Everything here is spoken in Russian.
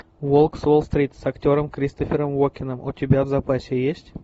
волк с уолл стрит с актером кристофером уокеном у тебя в запасе есть